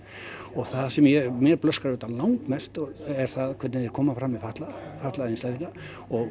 það sem mér blöskrar langmest er hvernig þeir koma fram við fatlaða fatlaða einstaklinga og